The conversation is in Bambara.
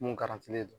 Mun garantilen don